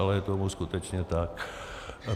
Ale je tomu skutečně tak.